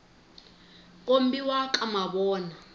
kombiwa ka mavona